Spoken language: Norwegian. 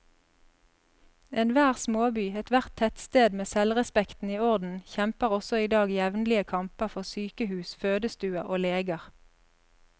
Enhver småby, ethvert tettsted med selvrespekten i orden, kjemper også i dag jevnlige kamper for sykehus, fødestuer og leger.